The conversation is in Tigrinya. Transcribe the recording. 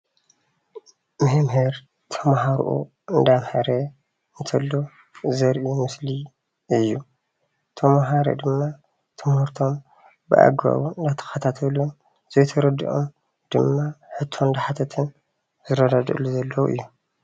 መምህር ተምሃርኡ እንዳምሃረ እንተሎ ዘርኢ ምስሊ እዩ፡፡ ተማሀሮ ድማ ትምህርቶም ብኣግባቡ እንዳተከታተሉን ዘይተረደኦም ድማ ሕቶ እንዳሓተቱን ዝረዳድእሉ ዘለዉ እዩ፡፡